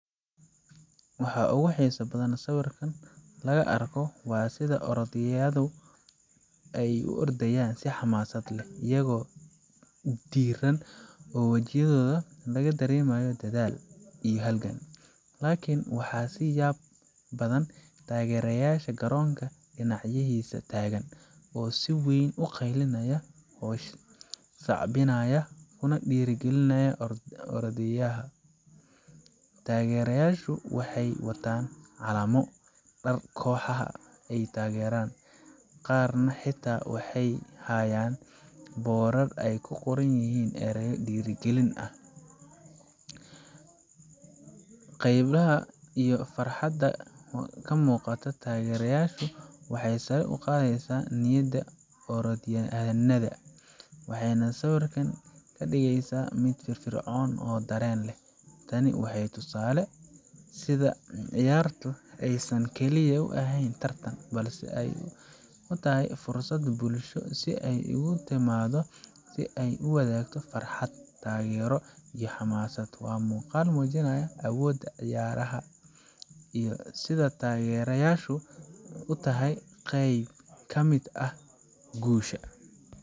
Waxaa ogu xisa badan oo sawirkan laga arko, waa sitha orodhyaladu ee u ordayan si xamasad leh iyago diran oo wajiyadhoda laga daremaya dathal iyo halgan, lakin waxaa siya badan tagerayasha garonka dinacyihisu tagan oo siweyn u qaylinaya oo sacbinaya kuna dira galinaya ordaa ordaa orodyaha, tagerayashu wexee watan calamo koxaha ee tageran qaar na xita wexee hayan boral ee ku qoran yihin ereyo dira galin ah, qeymaha ama farxaada ka muqato tagerayasha wexee sara uqadheysa orodyanadha, wexena sawirkan ka digeysa miid fir fircon oo daren leh, tani wexee tusale u ciyarta ee san kali u aheyn tartan balse fursaad bulsho si ee ogu timaado farxaad tagero iyo xamasaad, waa muqal mujinaya awoda ciyaraha iyo sitha tageryashu u tahay qeyb kamiid ah gushaa.